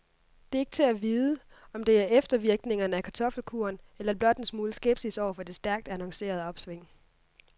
Det er ikke til at vide, om det er eftervirkningerne af kartoffelkuren eller blot en smule skepsis over for det stærkt annoncerede opsving.